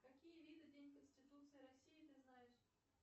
какие виды день конституции россии ты знаешь